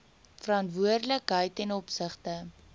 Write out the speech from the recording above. verantwoordelikheid ten opsigte